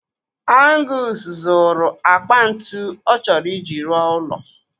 Angus zụrụ akpa ntụ ọ chọrọ ị ji rụọ ụlọ.